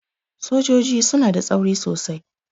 Sojoji suna da tsauri sosai.